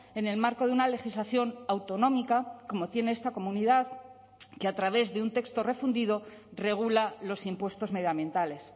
en el marco de una legislación autonómica como tiene esta comunidad que a través de un texto refundido regula los impuestos medioambientales